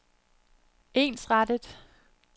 ensrettet